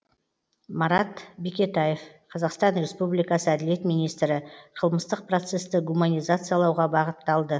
марат бекетаев қазақстан республикасы әділет министрі қылмыстық процесті гуманизациялауға бағытталды